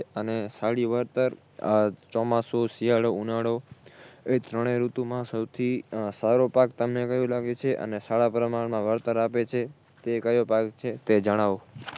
અને સારી વળતર આ ચોમાસુ, શિયાળો, ઉનાળો એ ત્રણેય ઋતુમાં સૌથી સારો પાક તમને કયો લાગે છે અને સારા પ્રમાણમાં વળતર આપે છે તે કયો પાક છે તે જણાવો